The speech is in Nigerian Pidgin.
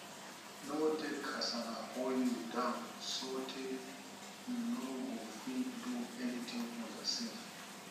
no let kasala hold you down sotey you no go fit do anything for yourself